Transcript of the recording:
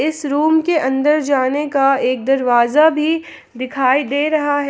इस रूम के अंदर जाने का एक दरवाजा भी दिखाई दे रहा है।